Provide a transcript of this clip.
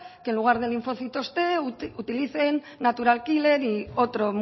que en lugar de linfocitos t utilicen natural killer y otro